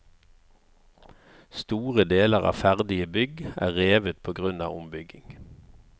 Store deler av ferdige bygg er revet på grunn av ombygging.